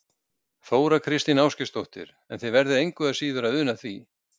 Þóra Kristín Ásgeirsdóttir: En þið verðið engu að síður að una því?